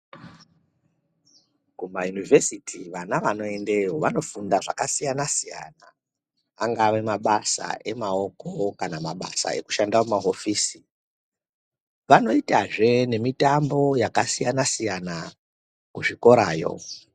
Kumayunivhesiti vana vanoendeyo vanofunda zvakasiyana siyana angave mabasa emaoko kana mabasa ekushanda mumahofisi vanoitazve nemitambo yakasiyana siyana kuzvikorayo.